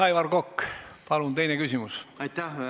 Aivar Kokk, palun teine küsimus!